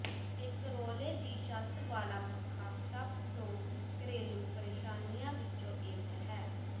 ਇੱਕ ਰੌਲੇ ਦੀ ਛੱਤ ਵਾਲਾ ਪੱਖਾ ਸਭ ਤੋਂ ਘਰੇਲੂ ਪਰੇਸ਼ਾਨੀਆਂ ਵਿੱਚੋਂ ਇੱਕ ਹੈ